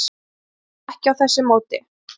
En það sést ekki á þessu móti?